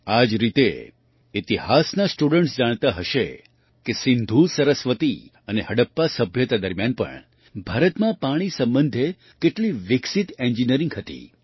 આ જ રીતે ઇતિહાસના સ્ટુડન્ટ્સ જાણતા હશે કે સિન્ધુ સરસ્વતી અને હડપ્પા સભ્યતા દરમિયાન પણ ભારતમાં પાણી સંબંધે કેટલી વિકસિત એન્જિનિયરિંગ હતી